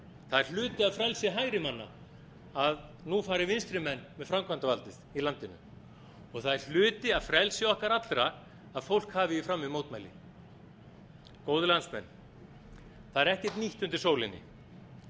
það er hluti af frelsi hægrimanna að nú fari vinstrimenn með framkvæmdarvaldið í landinu og það er hluti af frelsi okkar allra að fólk hafi í frammi mótmæli góðir landsmenn það er ekkert nýtt undir sólinni